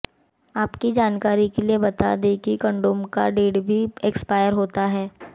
आपके जानकारी के लिए ये बता दे कि कंडोम का डेट भी एक्सपायर होता है